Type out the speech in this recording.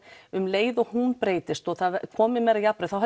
um leið og hún breytist og komið meira jafnræði þá